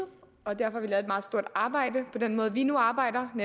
arbejde på den måde vi nu arbejder og